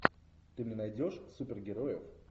ты мне найдешь супергероев